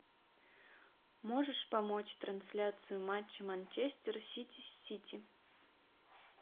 можешь помочь трансляцию матча манчестер сити с сити